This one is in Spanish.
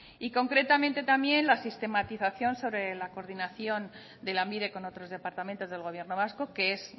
y concretamente también la sistematización sobre la coordinación de lanbide con otros departamentos del gobierno vasco que es